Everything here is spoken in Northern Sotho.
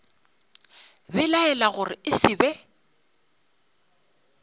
belaela gore e se be